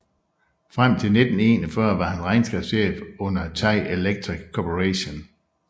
Frem til 1941 var han regnskabschef under Thai Electric Corporation